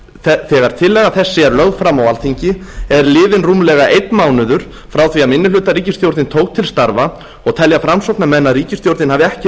höfðu þegar tillaga þessi er lögð fram á alþingi er liðinn rúmlega einn mánuður frá því að minnihlutaríkisstjórnin tók til starfa og telja framsóknarmenn að ríkisstjórnin hafi ekki